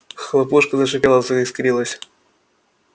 хлопушка зашипела заискрилась